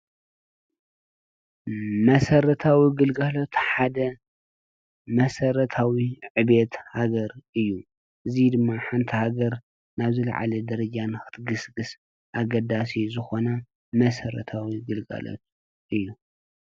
መሰረታዊ ግልጋሎት ሓደ መሰረታዊ ዕብየት ሃገር እዩ። እዚ ድማ ሓንቲ ሃገር ናብ ዝላዓለ ደረጃ ንኽትግስግስ ኣገዳሲ ዝኾነ መሰረታዊ ግልጋሎት እዩ።